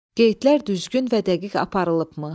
Qeydlər düzgün və dəqiq aparılıbmı?